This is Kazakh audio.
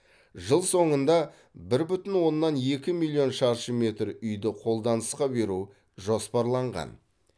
жыл соңында бір бүтін оннан екі миллион шаршы метр үйді қолданысқа беру жоспарланған